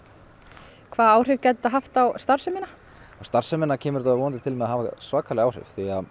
hvaða áhrif gæti þetta haft á starfsemina á starfsemina kemur þetta vonandi til með að hafa svakalega áhrif